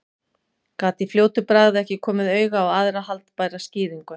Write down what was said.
Gat í fljótu bragði ekki komið auga á aðra haldbæra skýringu.